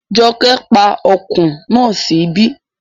Jọkẹ́ pa ọkùn náà sí ibí